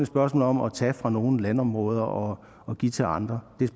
spørgsmål om at tage fra nogle landområder og og give til andre det er